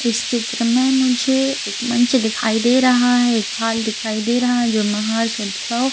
इस चित्र में मुझे मंच दिखाई दे रहा है एक हाल दिखाई दे रहा है जो --